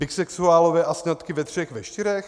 Bisexuálové a sňatky ve třech, ve čtyřech?